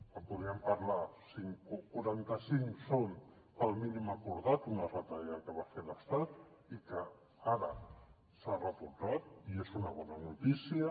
en podríem parlar quaranta cinc són pel mínim acordat d’una retallada que va fer l’estat i que ara s’ha retocat i és una bona notícia